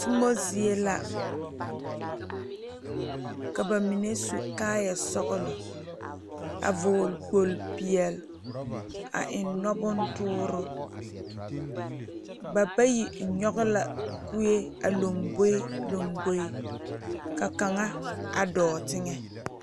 Tomɔ zie la ka ba mine su kaayɛ sɔglɔ a vɔɔle kpol peɛle a eŋ nɔ bontoore ba bayi nyoge la kuee a lomboe lomboe ka kaŋa a dɔɔ teŋɛ.